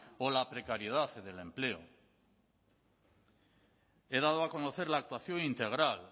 o la precariedad del empleo he dado a conocer la actuación integral